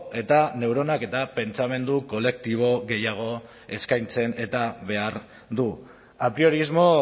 eta neuronak eta pentsamendu kolektibo gehiago eskaintzen eta behar du apriorismo